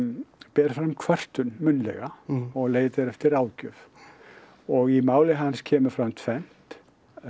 ber fram kvörtun munnlega og leitar eftir ráðgjöf og í máli hans kemur fram tvennt